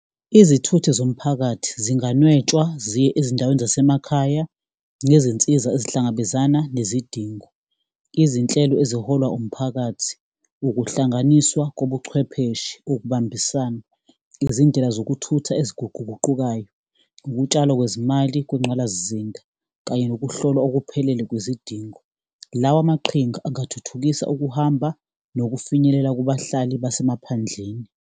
Izithuthi zomphakathi zinganetshwa, ziye ezindaweni zasemakhaya, nezinsiza esihlangabezana nezidingo. Izinhlelo eziholwa umphakathi, ukuhlanganiswa kobuchwepheshe kokubambisana, izindlela zokuthutha eziguquguqukayo, ukutshalwa kwezimali kwengqalasizinda kanye nokuhlola okuphelele kwizidingo. Lawa amaqhinga angathuthukisa ukuhamba nokufinyelela kubahlali basemaphandleni.